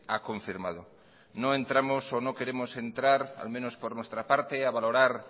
ha confirmado no entramos o no queremos entrar al menos por nuestra parte a valorar